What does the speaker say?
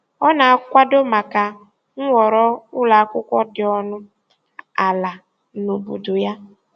Ọ na-akwado maka nhọrọ ụlọ akwụkwọ dị ọnụ ala na obodo ya.